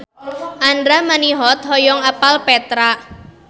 Andra Manihot hoyong apal Petra